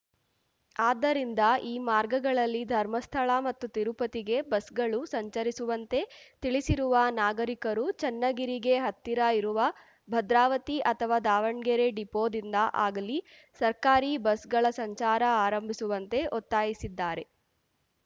ಆದ್ದರಿಂದ ಈ ಮಾರ್ಗಗಳಲ್ಲಿ ಧರ್ಮಸ್ಥಳ ಮತ್ತು ತಿರುಪತಿಗೆ ಬಸ್‌ಗಳು ಸಂಚರಿಸುವಂತೆ ತಿಳಿಸಿರುವ ನಾಗರಿಕರು ಚನ್ನಗಿರಿಗೆ ಹತ್ತಿರ ಇರುವ ಭದ್ರಾವತಿ ಅಥವಾ ದಾವಣ್ಗೆರೆ ಡಿಪೋದಿಂದ ಆಗಲಿ ಸರ್ಕಾರಿ ಬಸ್‌ಗಳ ಸಂಚಾರ ಆರಂಭಿಸುವಂತೆ ಒತ್ತಾಯಿಸಿದ್ದಾರೆ